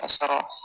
Ka sɔrɔ